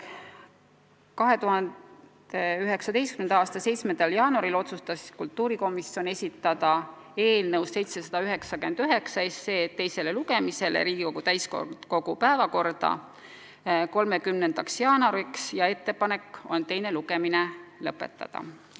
2019. aasta 17. jaanuaril otsustas kultuurikomisjon esitada eelnõu 799 teiseks lugemiseks Riigikogu täiskogu päevakorda 30. jaanuariks ja ettepanek on teine lugemine lõpetada.